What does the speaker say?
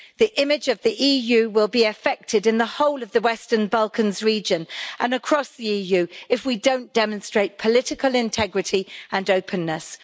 The image of the EU will be affected in the whole of the Western Balkans region and across the EU if we don't demonstrate political integrity and openness.